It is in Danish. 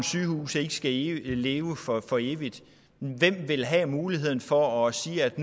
sygehus ikke skal leve leve for for evigt hvem vil så have muligheden for at sige at